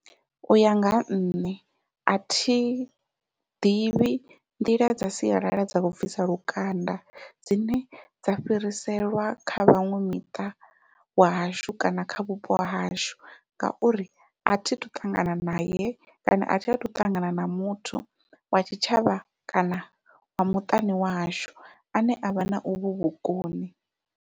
Uya nga ha nṋe athi ḓivhi nḓila dza sialala dza u bvisa lukanda dzine dza fhiriselwa kha vhaṅwe miṱa wa hashu kana kha vhupo hashu, ngauri athi tu ṱangana nae kana athi athu u ṱangana na muthu wa tshitshavha kana wa muṱani wa hashu ane avha na uvhu vhukoni.